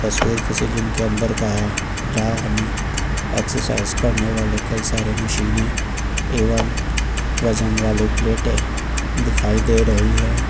तस्वीर किसी जिम के अंदर का है जहां हमें एक्सरसाइज करने वाले कई सारे मशीने एवं वजन वाले प्लेटें दिखाई दे रही है।